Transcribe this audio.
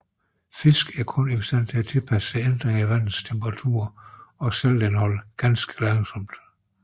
Fisk er kun i stand til at tilpasse sig ændringer i vandets temperatur og saltindhold ganske langsomt